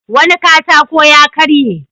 Wani katako ya karye.